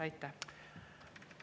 Aitäh!